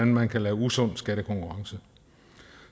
man kan lave usund skattekonkurrence